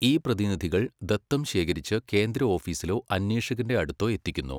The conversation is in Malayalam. ഈ പ്രതിനിധികൾ ദത്തം ശേഖരിച്ച് കേന്ദ്രഓഫീസിലോ അന്വേഷകന്റെ അടുത്തോ എത്തിക്കുന്നു.